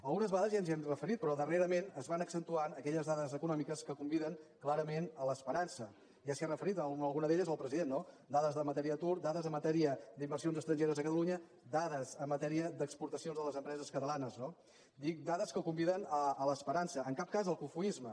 algunes vegades ja ens hi hem referit però darrerament es van accentuant aquelles dades econòmiques que conviden clarament a l’esperança ja s’hi ha referit a alguna d’elles el president no dades en matèria d’atur dades en matèria d’inversions estrangeres a catalunya dades en matèria d’exportacions de les empreses catalanes no dic dades que conviden a l’esperança en cap cas al cofoisme